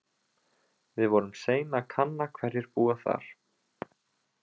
Við vorum sein að kanna hverjir búa þar.